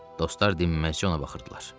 Dostlar dinməz-cə ona baxırdılar.